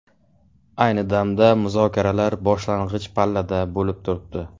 Ayni damda muzokaralar boshlang‘ich pallada bo‘lib turibdi.